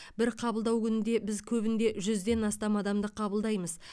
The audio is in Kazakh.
бір қабылдау күнінде біз көбінде жүзден астам адамды қабылдаймыз